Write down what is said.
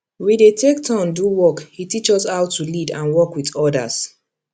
we dey take turn do work e teach us how to lead and work with others